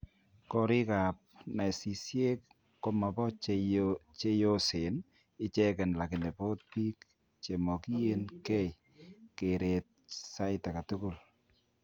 Korik ab nasisiek komabo cheyoseen icheken lakini boot biik chemokyin keei kerret saaitagetugul